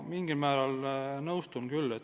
Ma mingil määral nõustun küll.